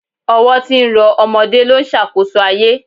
Ọwọ́ tí ń rọ ọmọdé ló ń ṣàkóso ayé